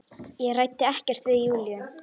Ég ræddi ekkert við Júlíu.